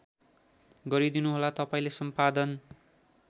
गरीदिनुहोला तपाईँले सम्पादन